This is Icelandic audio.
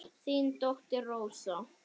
Þín dóttir Rósa.